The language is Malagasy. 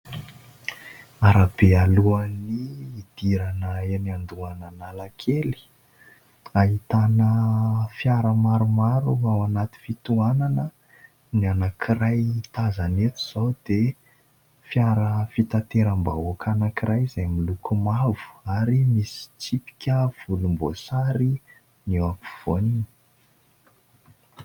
Arabe alohan'ny hidirana eny andohan'Analakely, ahitana fiara maromaro ao anaty fitohanana ; ny anankiray tazana eto izao dia fiara fitateram-bahoaka anankiray, izay miloko mavo ary misy tsipika volomboasary ny afovoaniny.